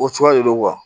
O cogoya de don